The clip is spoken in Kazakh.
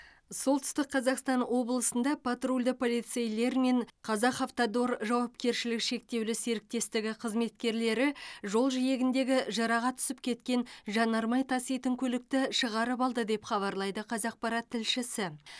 солтүстік қазақстан облысында патрульді полицейлер мен казахавтодор жауапкершілігі шектеулі серіктестігі қызметкерлері жол жиегіндегі жыраға түсіп кеткен жанармай таситын көлікті шығарып алды деп хабарлайды қазақпарат тілшісі